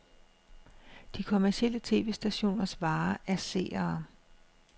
De kommercielle tv-stationers vare er seere.